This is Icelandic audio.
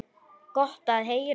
Gott að heyra.